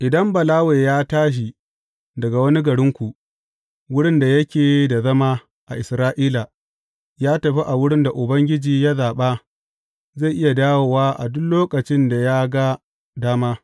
Idan Balawe ya tashi daga wani garinku, wurin da yake da zama a Isra’ila, ya tafi a wurin da Ubangiji ya zaɓa, zai iya dawo a duk lokacin da ya ga dama.